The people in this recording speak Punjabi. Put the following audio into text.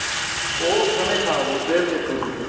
ਉਹ ਸਣੇਂ ਖਾਓ ਫ਼ੇਰ ਦੇਖੋ ਤੁਸੀਂ